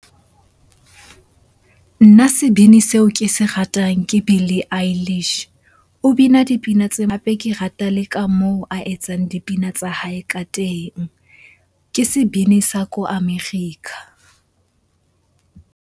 Nna sebini seo ke se ratang ke Billy . O bina dipina tse hape ke rata le ka moo a etsang dipina tsa hae ka teng. Ke sebini sa ko America.